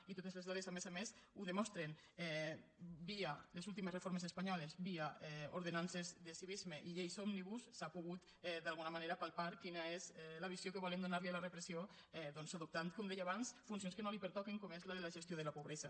i totes les dades a més a més ho demostren via les últimes reformes espanyoles via ordenances de civisme i lleis òmnibus s’ha pogut d’alguna manera palpar quina és la visió que volem donar li a la repressió doncs adoptant com deia abans funcions que no li pertoquen com és la de la gestió de la pobresa